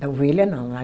Da ovelha, não.